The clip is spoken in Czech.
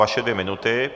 Vaše dvě minuty.